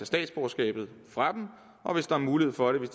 statsborgerskabet fra dem og hvis der er mulighed for det